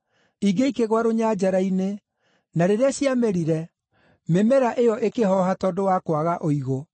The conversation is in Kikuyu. Ingĩ ikĩgũa rũnyanjara-inĩ, na rĩrĩa ciamerire, mĩmera ĩyo ĩkĩhooha tondũ wa kwaga ũigũ.